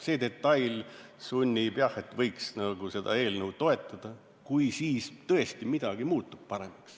See detail sunnib mõtlema, et võiks seda eelnõu toetada, kui siis tõesti midagi muutub paremaks.